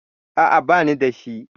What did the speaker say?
A'a, bani da shi.